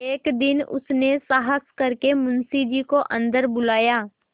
एक दिन उसने साहस करके मुंशी जी को अन्दर बुलाया